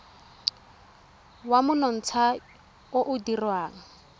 wa monontsha o o dirwang